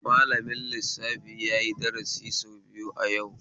Malamin lissafi yayi dasari sau biyu a yau